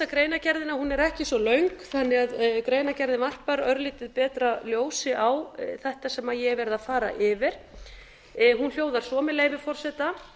greinargerðina hún er ekki svo löng greinargerðin varpar örlítið betra ljósi á þetta sem ég hef verið að fara yfir hún hljóðar svo með leyfi forseta